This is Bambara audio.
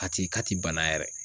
A ti k'a ti bana yɛrɛ!